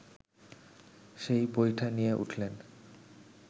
সেই বৈঠা নিয়ে উঠলেন